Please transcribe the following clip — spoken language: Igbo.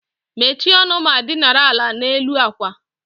Mechie ọnụ ma dinara ala n'elu àkwà